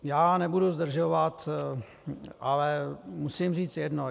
Já nebudu zdržovat, ale musím říct jedno.